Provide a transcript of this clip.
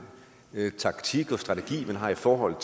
taktik og strategi man har i forhold